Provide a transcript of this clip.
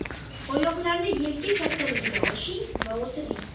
Oyoqlarni yelka kattaligida oching va o‘tiring.